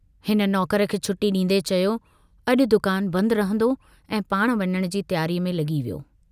हिन नौकर खे छुटी डींदे चयो, अजु दुकान बंदि रहंदो ऐं पाण वञण जी तियारीअ में लगी वियो।